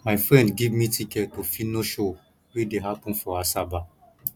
my friend give me ticket to phyno show wey dey happen for asaba